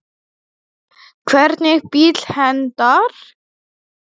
Hvernig bíll hentar?